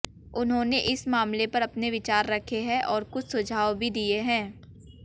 उन्होंने इस मामले पर अपने विचार रखे हैं और कुछ सुझाव भी दिए हैं